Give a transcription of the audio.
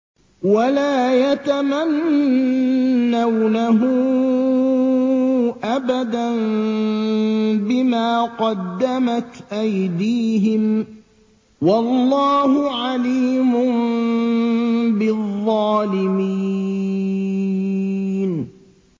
وَلَا يَتَمَنَّوْنَهُ أَبَدًا بِمَا قَدَّمَتْ أَيْدِيهِمْ ۚ وَاللَّهُ عَلِيمٌ بِالظَّالِمِينَ